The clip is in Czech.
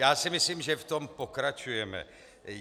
Já si myslím, že v tom pokračujeme.